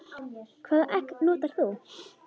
Hvaða egg notar þú?